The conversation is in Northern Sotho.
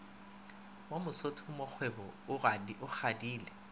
wa mosotho mongkgwebo o kgadile